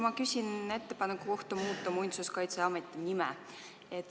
Ma küsin ettepaneku kohta muuta Muinsuskaitseameti nime.